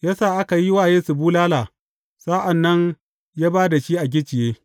Ya sa aka yi wa Yesu bulala, sa’an nan ya ba da shi a gicciye.